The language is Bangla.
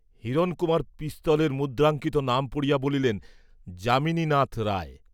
হিরণকুমার পিস্তলের মুদ্রাঙ্কিত নাম পড়িয়া বলিলেন যামিনীনাথ রায়।